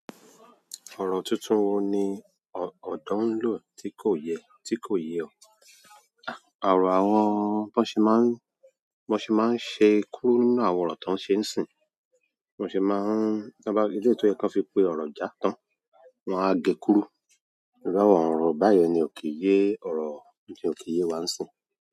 Ọ̀rọ̀ tuntun wo ni ọ̀dọ̀ ń lò tí kò yẹ, tí kò ye ọ? Ọ̀rọ̀ àwọn, bọ́n ṣe máa ń, bọ́n ṣe máa ń ṣe kúrú nínú àwọn ọ̀rọ̀ tán ṣe ń sìn. Bọ́n se máa ń, tọ́n bá wọ́n fi pé ọ̀rọ̀ já tán, wọ́n á é e kúrú. Irú àwọn ọ̀rọ̀ báyẹn ni ò kì í yé, ọ̀rọ̀ ni ò kì í yé wá ń sìn.